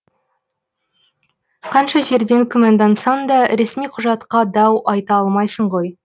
қанша жерден күмәндансаң да ресми құжатқа дау айта алмайсың ғой